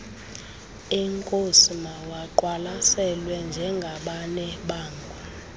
eenkosi mawaqwalaselwe njengabanebango